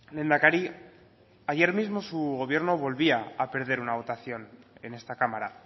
lehendakari ayer mismo su gobierno volvía a perder una votación en esta cámara